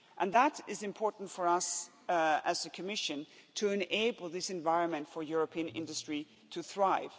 That is important for us, as the Commission, to enable this environment for European industry to thrive